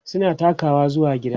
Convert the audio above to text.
suna takawa zuwa gida